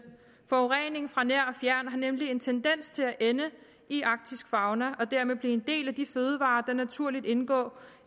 forureningen fra nær og fjern har nemlig en tendens til at ende i arktisk fauna og dermed blive en del af de fødevarer der naturligt indgår